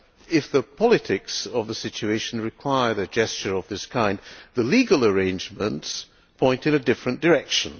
If the politics of the situation require a gesture of this kind, the legal arrangements point in a different direction.